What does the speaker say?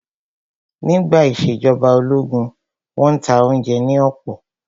Nígbà ìṣèjọba ológun, wọ́n n ta oúnjẹ ní ọ̀pọ̀